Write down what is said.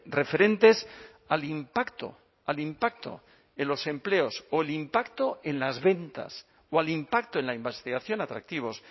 referentes al impacto al impacto en los empleos o el impacto en las ventas o al impacto en la investigación atractivos